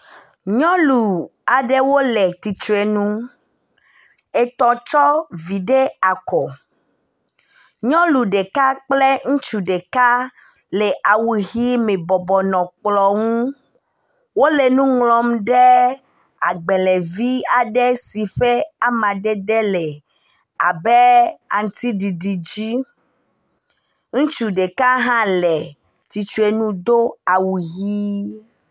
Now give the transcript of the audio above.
Nyɔnu aɖewo le tsitre nu, etɔ̃ tsɔ vi ɖe akɔ, nyɔnu ɖeka kple ŋutsu ɖeka le awu ɣi me bɔbɔnɔ kplɔ̃ ŋu, wole nuŋlɔm ɖe agbalẽvi aɖe sike ƒe amadede le abe aŋutiɖiɖi dzi, ŋutsu ɖeka hã le tsitsre nu do awu ɣii.